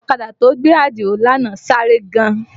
Ọ̀kadà tó gbé Àdìó lánàá sáré gan